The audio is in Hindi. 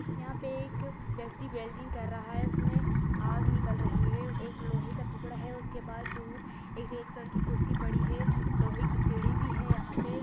यहाँ पे एक व्यक्ति वेल्डिंग कर रहा हैं उसमे आग निकल रही हैं एक लोहैं का टुकड़ा हैं उसके पास दूर एक रेड कलर की कुर्सी पड़ी है लोहैं की सीढ़ी भी हैं यहाँ पे।